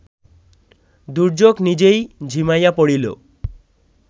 দুর্যোগ নিজেই ঝিমাইয়া পড়িল